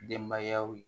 Denbayaw ye